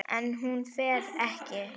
En hún fer ekki.